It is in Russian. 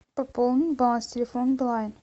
пополни баланс телефона билайн